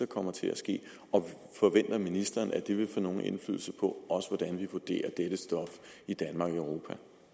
kommer til at ske forventer ministeren at det vil få nogen indflydelse på hvordan vi vurderer dette stof i danmark og